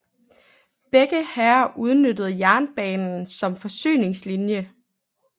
Begge hære udnyttede jernbanen som forsyningslinje